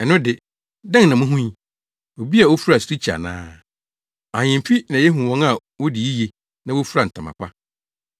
Ɛno de, dɛn na muhui? Obi a ofura sirikyi ana? Ahemfi na yehu wɔn a wodi yiye na wofura ntama pa.